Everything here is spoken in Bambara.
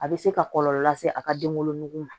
A bɛ se ka kɔlɔlɔ lase a ka denwolo nugu ma